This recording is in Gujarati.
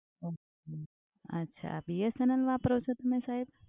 અચ્છા અચ્છા BSNL વાપરો છો તમે સાહેબ?